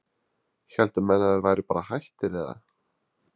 héldu menn að þeir væru bara hættir eða?